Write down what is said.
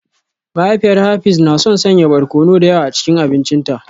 Mahaifiyar Hafiz na son sanya barkono da yawa a cikin abincinta